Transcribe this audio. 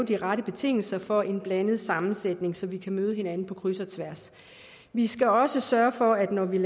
de rette betingelser for en blandet sammensætning så vi kan møde hinanden på kryds og tværs vi skal også sørge for at når vi